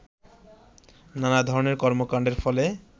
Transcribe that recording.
নানা ধরনের কর্মকাণ্ডের ফলে